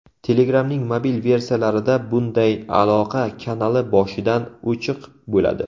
Telegram’ning mobil versiyalarida bunday aloqa kanali boshidan o‘chiq bo‘ladi.